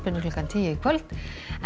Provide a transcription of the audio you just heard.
klukkan tíu í kvöld en